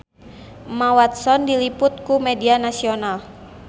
Emma Watson diliput ku media nasional